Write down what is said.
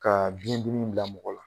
Ka bin ninnu danbala